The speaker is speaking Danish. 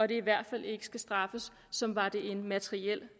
det i hvert fald ikke skal straffes som var de en materiel